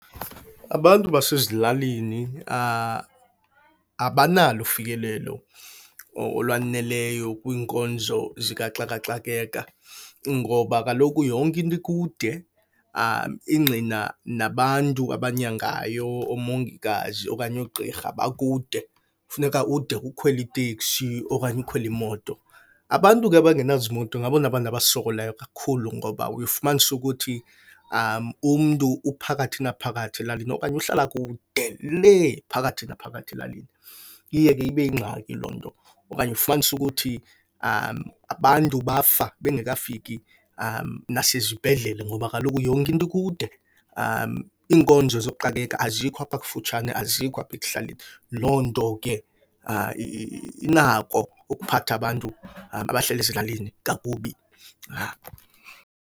Abantu basezilalini abanalo ufikelelo olwaneleyo kwiinkonzo zikaxaka xakeka ngoba kaloku yonke into ikude. Ingqina nabantu abanyangayo oomongikazi okanye oogqirha bakude, funeka ude ukhwele iteksi okanye ukhwele imoto. Abantu ke abangenazimoto ngabona bantu abasokolayo kakhulu ngoba uye ufumanise ukuthi umntu uphakathi naphakathi elalini okanye uhlala kuude lee phakathi naphakathi elalini. Iye ke ibe yingxaki loo nto okanye ufumanise ukuthi abantu bafa bengekafiki nasezibhedlele ngoba kaloku yonke into ikude. Iinkonzo zooxakeka azikho apha kufutshane, azikho apha ekuhlaleni. Loo nto ke inako ukuphatha abantu abahlala ezilalini kakubi.